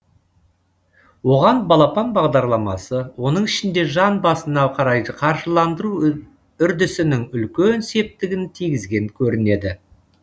оған балапан бағдарламасы оның ішінде жан басына қарай қаржыландыру үрдісінің үлкен септігін тигізген көрінеді